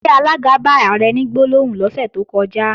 Ṣé alága bá Ààrẹ ní gbólóhùn lọ́sẹ̀ tó kọjá?